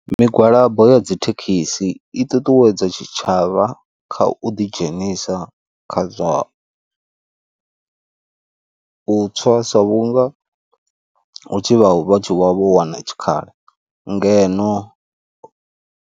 Migwalabo ya dzithekhisi i ṱuṱuwedza tshitshavha kha u ḓi dzhenisa kha zwa u tswa sa vhunga hu tshi vha tshi wana tshikhala ngeno.